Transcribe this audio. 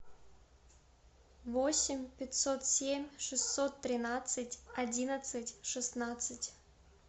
восемь пятьсот семь шестьсот тринадцать одиннадцать шестнадцать